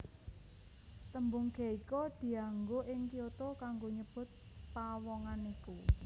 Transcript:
Tembung geiko dianggo ing Kyoto kanggo nyebut pawongan iku